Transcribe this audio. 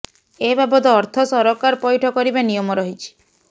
ଏ ବାବଦ ଅର୍ଥ ସରକାର ପଇଠ କରିବା ନିୟମ ରହିଛି